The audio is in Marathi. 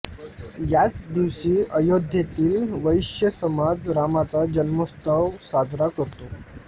याच दिवशी अयोध्येतील वैश्य समाज रामाचा जन्मोत्सव साजरा करतो